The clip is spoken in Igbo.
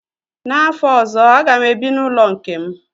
N'afọ ọzọ a ga m ebi n'ụlọ nke m